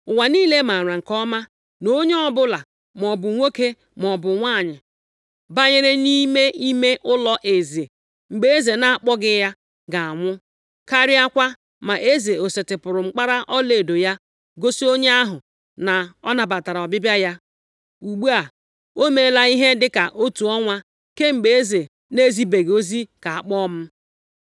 “Ụwa niile maara nke ọma na onye ọbụla, maọbụ nwoke maọbụ nwanyị, banyere nʼime ime ụlọeze mgbe eze na-akpọghị ya, ga-anwụ, karịakwa ma eze o setịpụrụ mkpara ọlaedo ya gosi onye ahụ na ọ nabatara ọbịbịa ya. Ugbu a, o meela ihe dị ka otu ọnwa kemgbe eze na-ezibeghị ozi ka a kpọọ m.”